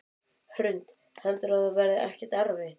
Hrund: Heldurðu að það verði ekkert erfitt?